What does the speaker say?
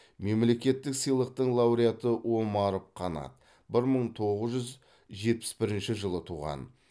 мемлекеттік сыйлықтың лауреаты омаров қанат бір мың тоғыз жүз жетпіс бірінші жылы туған